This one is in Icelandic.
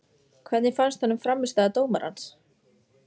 Hvernig fannst honum frammistaða dómarans?